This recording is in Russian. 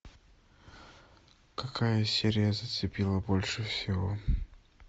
какая серия зацепила больше всего